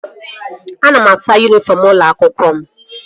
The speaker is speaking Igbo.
Ana m asa yunifọm ụlọ akwụkwọ m